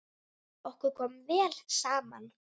Okkur kom vel saman.